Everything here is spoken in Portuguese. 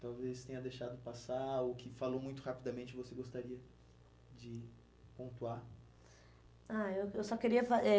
talvez tenha deixado passar, ou que falou muito rapidamente, você gostaria de pontuar? Ah eu, eu só queria fa eh